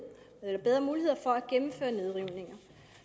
for at gennemføre nedrivninger